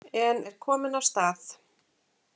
En er komin af stað.